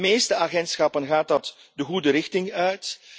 In de meeste agentschappen gaat dat de goede richting uit.